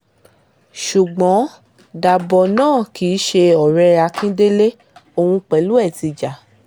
ṣùgbọ́n daboh náà kì í ṣe ọ̀rẹ́ akíndélé òun pẹ̀lú ẹ̀ ti jà